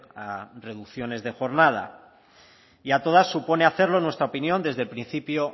a reducciones de jornada y a todas supone hacerlo en nuestra opinión desde el principio